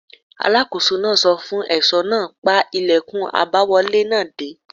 Alákóso náà sọ fún ẹ̀ṣọ́ náà: pa ìlẹ̀kùn àbáwọlé náà dé!